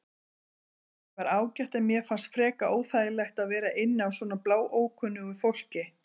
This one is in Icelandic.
Herbergið var ágætt en mér fannst frekar óþægilegt að vera inni á svona bláókunnugu fólki.